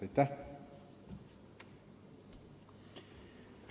Aitäh!